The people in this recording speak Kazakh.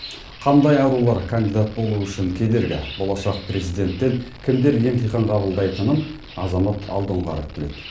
қандай арулар кандидат болу үшін кедергі болашақ президенттен кімдер емтихан қабылдайтынын азамат алдоңғаров біледі